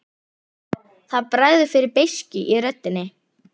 Það bregður fyrir beiskju í röddinni.